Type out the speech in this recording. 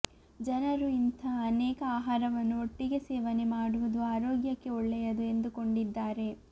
ಜನರು ಇಂಥ ಅನೇಕ ಆಹಾರವನ್ನು ಒಟ್ಟಿಗೆ ಸೇವನೆ ಮಾಡುವುದು ಆರೋಗ್ಯಕ್ಕೆ ಒಳ್ಳೆಯದು ಎಂದುಕೊಂಡಿದ್ದಾರೆ